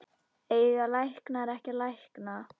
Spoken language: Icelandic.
Eiga læknar ekki að lækna?